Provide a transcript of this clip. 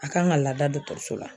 A kan ka lada dɔgɔtɔrɔso la